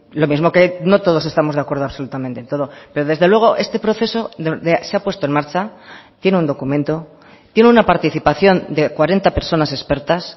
lo mismo que no todos estamos de acuerdo absolutamente en todo pero desde luego este proceso se ha puesto en marcha tiene un documento tiene una participación de cuarenta personas expertas